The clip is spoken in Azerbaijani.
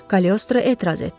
Kalyostro etiraz etdi.